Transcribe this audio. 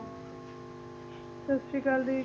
ਸਤਿ ਸ਼੍ਰੀ ਅਕਾਲ ਦੀ